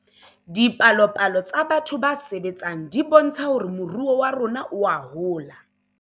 Dipalopalo tsa batho ba sebetseng di bontsha hore moruo wa rona oa hola